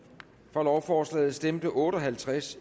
for lovforslaget stemte otte og halvtreds